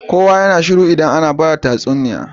Kowa yAna shiru idan ana bada tatsuniya